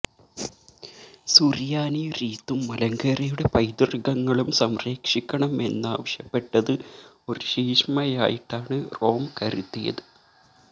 സുറിയാനി റീത്തും മലങ്കരയുടെ പൈതൃകങ്ങളും സംരക്ഷിക്കണമെന്നാവശ്യപ്പെട്ടത് ഒരു ശീശ്മയായിട്ടാണ് റോം കരുതിയത്